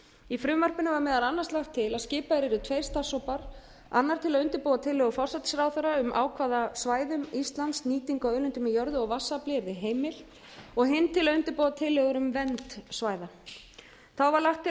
í frumvarpinu var meðal annars lagt til að skipaðir yrðu tveir starfshópar annar til að undirbúa tillögur forsætisráðherra um á hvaða svæðum íslands nýting á auðlindum í jörðu og vatnsafli yrði heimil og hin til að undirbúa tillögur um vernd svæða þá var lagt til að